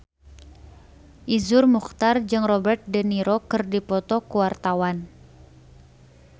Iszur Muchtar jeung Robert de Niro keur dipoto ku wartawan